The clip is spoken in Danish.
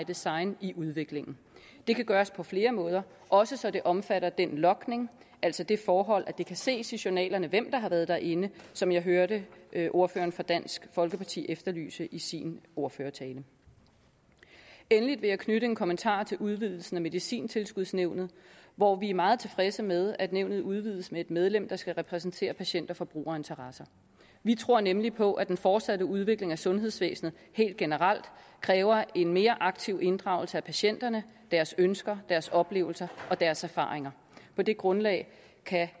design i udviklingen det kan gøres på flere måder også så det omfatter den logning altså det forhold at det kan ses i journalerne hvem der har været derinde som jeg hørte ordføreren fra dansk folkeparti efterlyse i sin ordførertale endelig vil jeg knytte en kommentar til udvidelsen af medicintilskudsnævnet hvor vi er meget tilfredse med at nævnet udvides med et medlem der skal repræsentere patient og forbrugerinteresser vi tror nemlig på at den fortsatte udvikling af sundhedsvæsenet helt generelt kræver en mere aktiv inddragelse af patienterne deres ønsker deres oplevelser og deres erfaringer på det grundlag kan